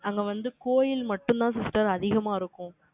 அங்க வந்து, கோயில் மட்டும்தான், sister அதிகமா இருக்கும்